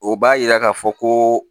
O b'a yira k'a fɔ ko